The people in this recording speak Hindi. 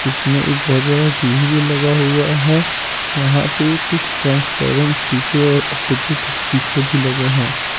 इसमें एक बहुत बड़ा टीवी भी लगा हुआ है यहां पे कुछ ड्रेस पहले --